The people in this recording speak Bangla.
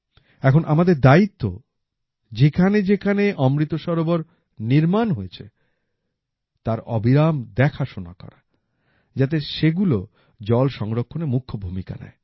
এখন আমাদের দায়িত্ব যেখানে যেখানে অমৃত সরোবর নির্মাণ হয়েছে তার অবিরাম দেখাশোনা করা যাতে সেগুলো জল সংরক্ষণে মুখ্য ভূমিকা নেয়